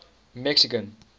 mexican